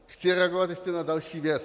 Chci reagovat ještě na další věc.